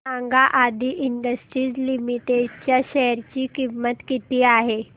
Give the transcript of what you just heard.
सांगा Aadi industries limited च्या share ची किंमत किती आहे